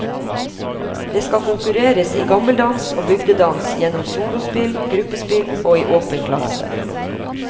Det skal konkurreres i gammeldans og bygdedans gjennom solospill, gruppespill og i åpen klasse.